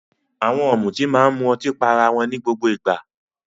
Àwọn ọ̀mùtí máa ń mu ọtí pá ará wọn ní gbogbo ìgbà.